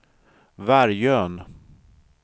Vargön